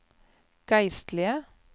geistlige